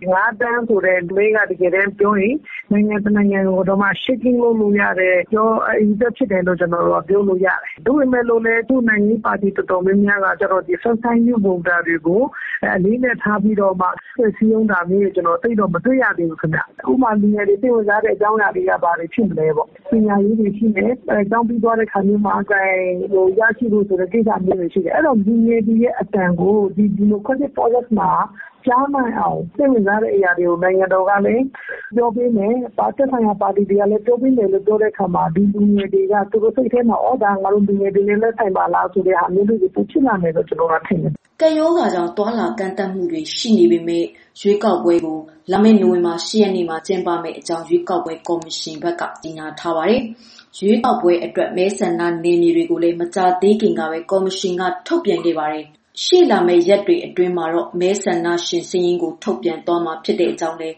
ပမာဏက နိုင်ငံတနိုင်ငံကို ပြောင်းလဲလို့ရတယ်။ ဒါပေမယ့် ခုက နိုင်ငံရေးပါတီတွေဘက်က first time voter တွေကို အလေးအနက်ထားပြီးတော့ စည်းရုံးတာတွေ သိပ်မတွေ့ရဘူး။ အဓိကကတော့ လူငယ်တွေ စိတ်ဝင်စားတာတွေက ဘာတွေဖြစ်မလဲပေါ့။ ပညာရေးတွေရှိမယ် ကျောင်းပြီးတဲ့အခါမျိုးမှာ အလုပ်ရဖို့ဆိုတာတွေ ရှိမယ်။ အဲဒီတော့ လူငယ်တွေရဲ့အသံကို ကြားနိုင်အောင် စိတ်ဝင်စားတဲ့အရာကို နိုင်ငံတော်ကလည်း ပြောပေးမယ်။ သက်ဆိုင်ရာပါတီတွေကပြော ပေးလာရင် လူငယ်တွေက ငါတို့နဲ့သက်ဆိုင်ပါလားလို့ ထင်မြင်လာမယ်လို့ ကျနော်ထင်တယ်။” ကပ်ရောဂါကြောင့် သွားလာကန့်သတ်မှုတွေ ရှိနေပေမဲ့လည်း ရွေးကောက်ပွဲကို နိုဝင်ဘာလ ၈ ရက်နေ့မှာ ကျင်းပမယ့်အကြောင်း ရွေးကောက်ပွဲ ကော်မရှင်က ကြေညာထားပါတယ်။ ရွေးကောက်ပွဲအတွက် မဲဆန္ဒနယ်မြေတွေကိုလည်း မကြာသေးခင်ကပဲ ကော်မရှင်က ထုတ်ပြန်ခဲ့ပြီး ရှေ့လာမယ့်ရက်တွေအတွင်း မဲဆန္ဒရှင်စာရင်းကို ထုတ်ပြန်သွားမှာ ဖြစ်ကြောင်းလည်း